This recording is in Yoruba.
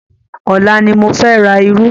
Ọ̀la ni mo fẹ́ ra irú.